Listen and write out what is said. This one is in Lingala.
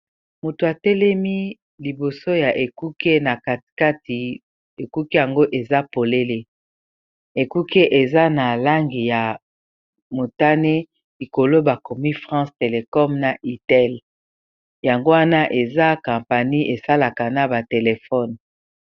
moto atelemi liboso ya ekuke na katikati ekuke yango eza polele ekuke eza na langi ya motane likolo bakomi france telecome na ital yango wana eza kampani esalaka na batelefone